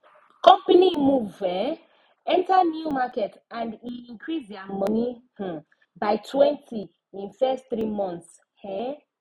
company move um enter new market and e increase their money um bytwentyin first 3 months um